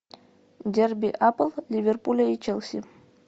дерби апл ливерпуля и челси